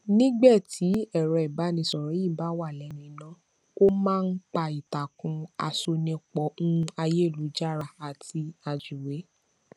nígbé tí ẹrọ ìbánisọrọ yìí bá wà lẹnu iná ó má n pa ìtàkùn àṣonipọ ún àyélujára àti àjúwe